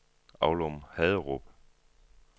Aulum-Haderup